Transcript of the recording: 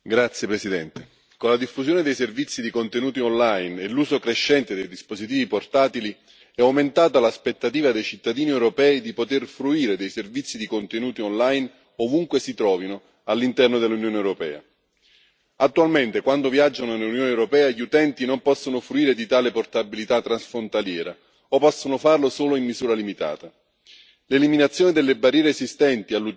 Signor Presidente, onorevoli colleghi, con la diffusione dei servizi di contenuti online e l'uso crescente dei dispositivi portatili è aumentata l'aspettativa dei cittadini europei di poter fruire dei servizi di contenuti online ovunque si trovino all'interno dell'Unione europea. Attualmente quando viaggiano nell'Unione europea gli utenti non possono fruire di tale portabilità transfrontaliera o possono farlo solo in misura limitata.